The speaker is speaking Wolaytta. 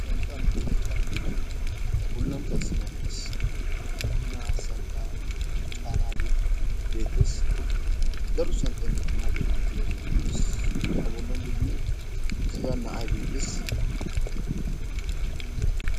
santaa makiinay caanidi a bolan qassi issi na'ay dees. makiinay santaa caanaagee beetees. daro santtay makiinaa bolan de'iyaagee beetees. a bolan degmo issi na'ay beetees.